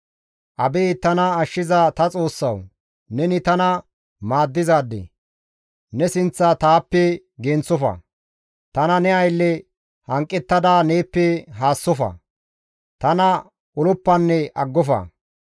Abeet tana ashshiza ta Xoossawu! Neni tana maaddizaade; Ne sinththa taappe genththofa; tana ne aylle hanqettada neeppe haassofa. Tana oloppanne aggofa.